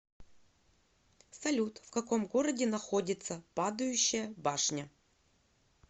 салют в каком городе находится падающая башня